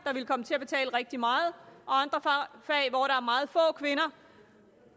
ville komme til at betale rigtig meget og meget få kvinder